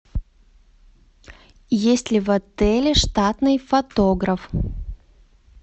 есть ли в отеле штатный фотограф